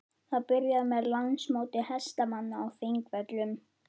Það byrjaði með Landsmóti hestamanna á Þingvöllum.